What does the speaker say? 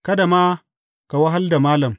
Kada ma ka wahal da Malam.